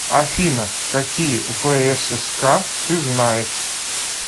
афина какие всск ты знаешь